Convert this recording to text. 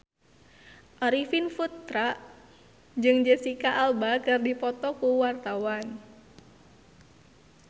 Arifin Putra jeung Jesicca Alba keur dipoto ku wartawan